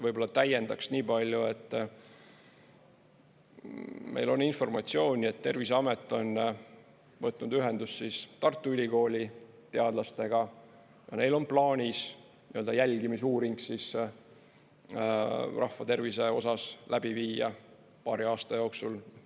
Võib-olla täiendaks niipalju, et meil on informatsiooni, et Terviseamet on võtnud ühendust Tartu Ülikooli teadlastega ja neil on plaanis jälgimisuuring rahva tervise osas läbi viia paari aasta jooksul.